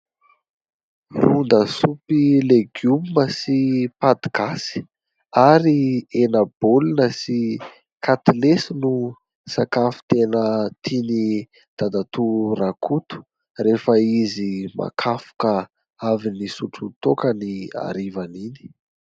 Ron-dasopy legioma sy paty gasy ary henabolina sy katilesy no sakafo tena tiany dadatoa Rakoto rehefa izy makafoka avy nisotro toaka ny harivan' iny.